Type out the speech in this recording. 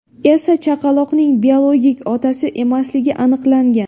esa chaqaloqning biologik otasi emasligi aniqlangan.